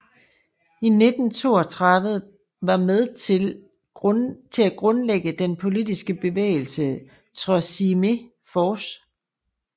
I 1932 var med til at grundlægge den politiske bevægelse Troisième Force